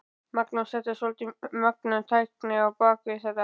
Magnús: Þetta er svolítið mögnuð tækni á bak við þetta?